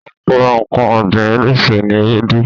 Àpẹẹrẹ ǹkan ọ̀gbìn eléso ni ewédú.